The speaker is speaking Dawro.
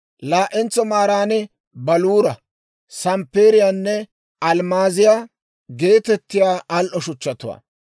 laa'entso maaran baluura, samppeeriyaanne almmaaziyaa geetettiyaa al"o shuchchatuwaa;